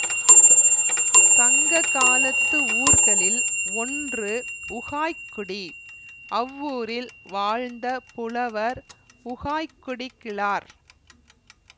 சங்ககாலத்து ஊர்களில் ஒன்று உகாய்க்குடி அவ்வூரில் வாழ்ந்த புலவர் உகாய்க்குடி கிழார்